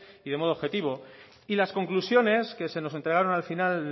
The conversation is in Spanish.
y de modo objetivo las conclusiones que se nos entregaron al final